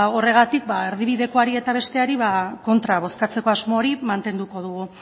horregatik ba erdibidekoari eta besteari kontra bozkatzeko asmo hori mantenduko dugu